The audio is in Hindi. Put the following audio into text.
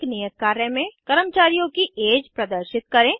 एक नियत कार्य में कर्मचारियों की ऐज प्रदर्शित करें